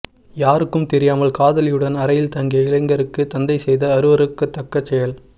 யாருக்கும் தெரியாமல் காதலியுடன் அறையில் தங்கிய இளைஞருக்கு தந்தை செய்த அருவருக்கதக்க செயல்